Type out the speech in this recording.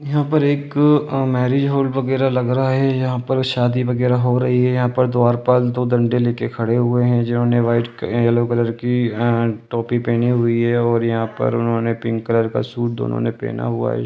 यहाँ पर एक अ मैरिज हॉल वगैरा लग रहा है यहाँ पर शादी वगैरा हो रही है यहाँ पर द्वारपाल दो डंडे लेके खड़े हुए हैं जिन्होंने वाइट येलो कलर की अ टोपी पहनी हुई है और यहाँ पर उन्होंने पिंक कलर का सूट दोनों ने पहना हुआ है।